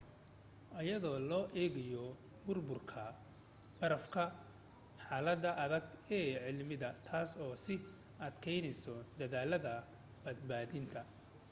iyadoo loo egayo burburka barafka xalada adage e cimilada taas oo sii adkaneysay dadaalada badbaadinta